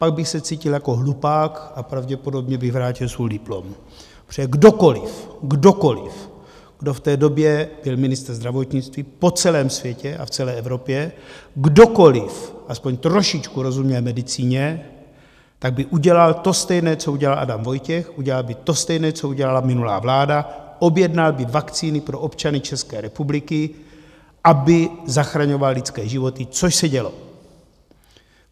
Pak bych se cítil jako hlupák a pravděpodobně bych vrátil svůj diplom, protože kdokoliv, kdokoliv, kdo v té době byl ministr zdravotnictví po celém světě a v celé Evropě, kdokoliv aspoň trošičku rozuměl medicíně, tak by udělal to stejné, co udělal Adam Vojtěch, udělal by to stejné, co udělala minulá vláda, objednal by vakcíny pro občany České republiky, aby zachraňovaly lidské životy, což se dělo.